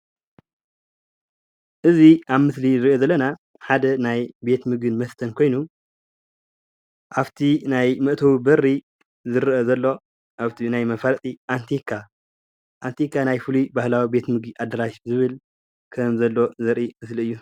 እዚ ኣብ ምስሊ እንሪኦ ዘለና ሓደ ናይ ቤት ምግብን መስተን ኮይኑ ኣፍ እቲ ናይ መእተዊ በሪ ዝረአ ዘሎ ኣብቲ ናይ መፋለጢ ኣንቲካ ናይ ፍሉይ ናህላዊ ምግቢ ኣደራሽ ዝብል ከም ዘለዎ ዘርኢ ምስሊ እዩ፡፡